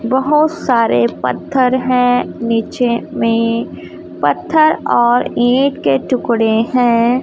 बहोत सारे पत्थर हैं नीचे में पत्थर और ईंट के टुकड़े हैं।